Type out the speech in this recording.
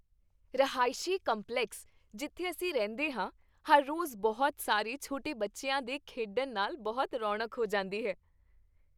ਰਹਾਇਸ਼ੀ complex ਜਿੱਥੇ ਅਸੀਂ ਰਹਿੰਦੇ ਹਾਂ, ਹਰ ਰੋਜ਼ ਬਹੁਤ ਸਾਰੇ ਛੋਟੇ ਬੱਚਿਆਂ ਦੇ ਖੇਡਣ ਨਾਲ ਬਹੁਤ ਰੌਣਕ ਹੋ ਜਾਂਦੀ ਹੈ।